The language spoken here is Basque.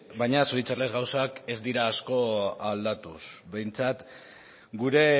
baina zoritxarrez gauzak ez dira asko aldatu behintzat gure